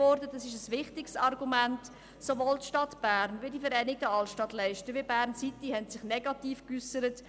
Sowohl die Stadt Bern als auch die Vereinigten Altstadtleiste und Bern-City haben sich negativ geäussert.